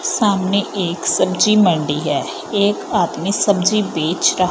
सामने एक सब्जी मंडी हैं एक आदमी सब्जी बेच रहा--